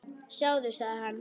Sjáðu, sagði hann.